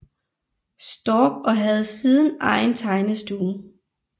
Storck og havde siden egen tegnestue